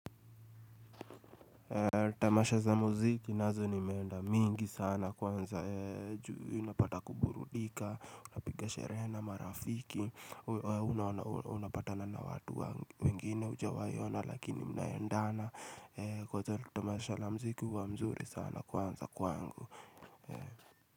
Tamasha za muziki nazo nimeenda mingi sana kwanza juu unapata kuburundika unapiga sherehe na marafiki unapatana watu wengine hujawai ona lakini mnaendana kwanza tamasha la muziki uwa mzuri sana kwanza kwangu.